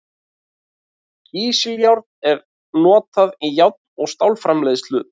Kísiljárn er notað í járn- og stálframleiðslu.